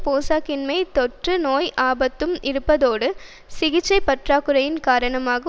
போசாக்கின்மை தொற்று நோய் ஆபத்தும் இருப்பதோடு சிகிச்சை பற்றாக்குறையின் காரணமாக